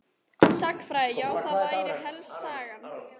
Sagnfræði já það væri þá helst Sagan.